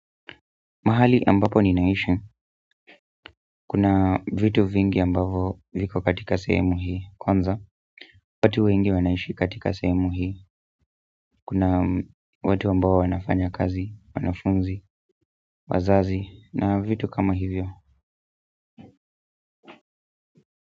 Mahali ambapo ninaishi, kuna vitu vingi ambavyo viko katika semu hii, kwanza, watu wengi wanaishi katika semu hii, kuna watu ambao wanafanya kazi, wanafunzi, wazazi, na vitu kama hivyo.